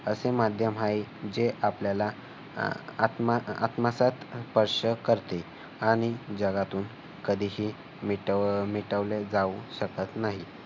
असे माध्यम आहे जे आपल्याला आत्म आह आत्मसात करते आणि जगातून कधीही मिटवले मिटवली जाऊ शकत नाही.